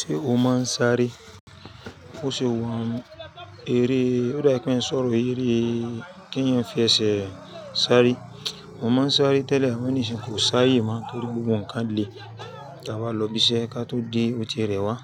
Ṣé o máa ń sáré? Ó ṣe wà ń eré, ó dá pé ń sọ̀rọ̀ ìrí ìrí kí èèyàn fi ẹsẹ̀ sáré. Mò máa ń sáré tẹ́lẹ̀, àmo ni sin kò sáayé máa ń tóri gbogbo ǹkan lè tà bá lọ bí iṣẹ́ ká tó dé òtí rẹ wá.